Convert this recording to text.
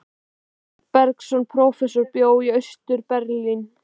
Sveinn Bergsveinsson prófessor bjó í Austur-Berlín.